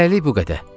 Hələlik bu qədər.